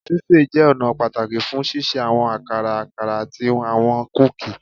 Ṣiṣe jẹ ọna pataki fun ṣiṣe awọn akara, akara, ati awọn kuki